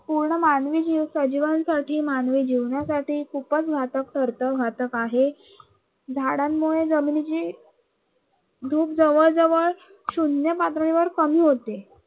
पूर्ण मानवी जीव सजीवांसाठी साठी, मानवी जीवनासाठी खूपच घातक ठरतो, घातक आहे. झाडांमुळे जमिनीची धूप जवळ जवळ शून्य पातळीवर कमी होते.